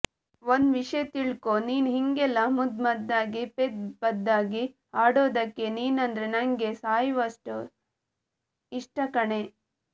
ಒಂದ್ ವಿಷಯ ತಿಳ್ಕೊ ನೀನ್ ಹಿಂಗೆಲ್ಲ ಮುದ್ ಮದ್ದಾಗಿ ಪೆದ್ ಪದ್ದಾಗಿ ಆಡೋದಕ್ಕೆ ನೀನಂದ್ರೆ ನನಗೆ ಸಾಯೊವಷ್ಟ್ ಇಷ್ಟ ಕಣೆ